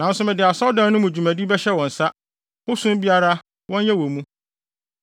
Nanso mede asɔredan no mu dwumadi bɛhyɛ wɔn nsa, ho som biara wɔnyɛ wɔ mu.